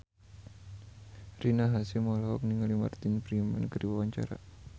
Rina Hasyim olohok ningali Martin Freeman keur diwawancara